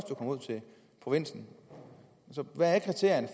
provinsen hvad er kriterierne